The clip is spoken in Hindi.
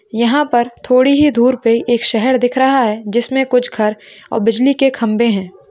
यहा पर थोड़ी ही दूर पे एक शहर दिख रहा है जिसमे कुछ घर और बिजली के खंबे है।